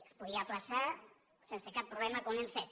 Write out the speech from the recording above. es podia ajornar sense cap problema com hem fet